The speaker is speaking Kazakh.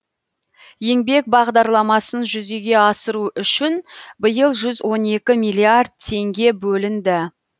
еңбек бағдарламасын жүзеге асыру үшін биыл жүз он екі миллиард теңге бөлінді